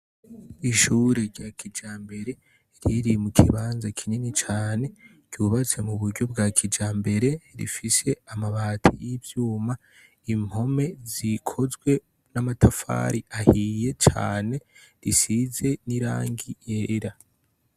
Ishure rya kijambere riri mu kibanza kinini cane ryubatse mu buryo bwa kijambere rifise amabati y'ivyuma impome zikozwe n'amatafari ahiye cane risize n'irangi yera.